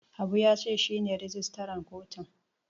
Habu ya ce shi ne rijistaran kotun.